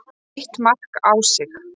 Eitt mark á sig.